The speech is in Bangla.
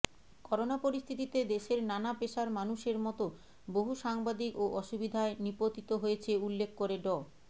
করোনা পরিস্থিতিতে দেশের নানা পেশার মানুষের মতো বহু সাংবাদিকও অসুবিধায় নিপতিত হয়েছে উল্লেখ করে ড